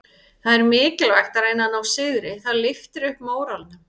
Það er mikilvægt að reyna að ná sigri, það lyftir upp móralnum.